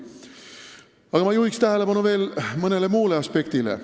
Aga ma juhin tähelepanu veel mõnele muule aspektile.